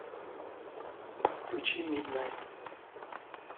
включи миднайт